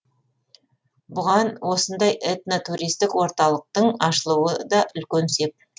бұған осындай этно туристік орталықтың ашылуы да үлкен сеп